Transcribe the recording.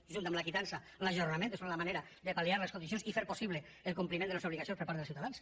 junt amb la quitança l’ajornament és la manera de pal·liar les condicions i fer possible el compliment de les obligacions per part dels ciutadans